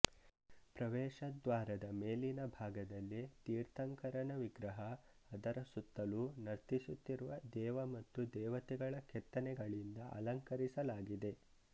ಪ್ರವೇಶದ್ವಾರದ ಮೇಲಿನ ಭಾಗದಲ್ಲಿ ತೀರ್ಥಂಕರನ ವಿಗ್ರಹ ಅದರ ಸುತ್ತಲೂ ನರ್ತಿಸುತ್ತಿರುವ ದೇವ ಮತ್ತು ದೇವತೆಗಳ ಕೆತ್ತನೆಗಳಿಂದ ಅಲಂಕರಿಸಲಾಗಿದೆ